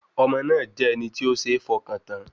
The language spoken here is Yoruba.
Ọmọ náà jẹ́ ẹni tí ó ṣeé fọkàn tán